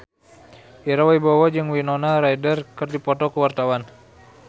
Ira Wibowo jeung Winona Ryder keur dipoto ku wartawan